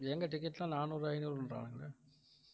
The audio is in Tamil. எங்க tickets லாம் நானூறு ஐநூறுன்றானுங்களே